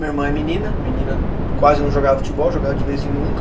Minha irmã é menina, menina quase não jogava futebol, jogava de vez em nunca.